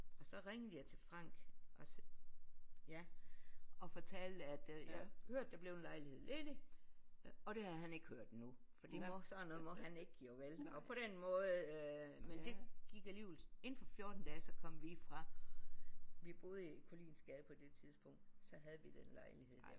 Og så ringede jeg til Frank og så ja og fortalte at øh jeg havde hørt der blev en lejlighed ledig og det havde han ikke hørt endnu fordi sådan noget må han ikke jo vel og på den måde men det gik alligevel inden for 14 dage så kom vi fra vi boede i Koliinsgade på det tidspunkt så havde vi den lejlighed der